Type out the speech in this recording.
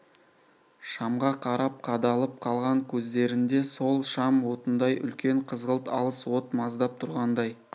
шамға қарап қадалып қалған көздерінде сол шам отындай үлкен қызғылт алыс от маздап тұрғандай